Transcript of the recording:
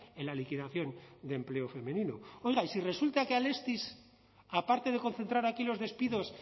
en la liquidación de empleo femenino oiga y si resulta que alestis aparte de concentrar aquí los despidos